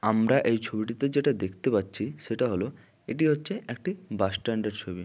আমরা এই ছবিটিতে যেটা দেখতে পাচ্ছি সেটা হলো এটি হচ্চে একটি বাসস্ট্যান্ড এর ছবি।